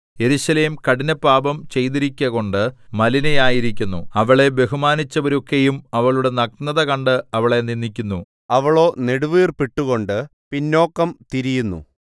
യെരൂശലേം കഠിനപാപം ചെയ്തിരിക്കകൊണ്ട് മലിനയായിരിക്കുന്നു അവളെ ബഹുമാനിച്ചവരൊക്കെയും അവളുടെ നഗ്നത കണ്ട് അവളെ നിന്ദിക്കുന്നു അവളോ നെടുവീർപ്പിട്ട് കൊണ്ട് പിന്നോക്കം തിരിയുന്നു